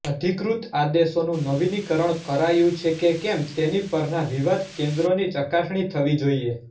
અધિકૃત આદેશોનું નવીનીકરણ કરાયું છે કે કેમ તેની પરના વિવાદ કેન્દ્રોની ચકાસણી થવી જોઇએ